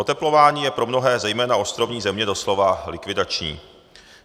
Oteplování je pro mnohé, zejména ostrovní země doslova likvidační.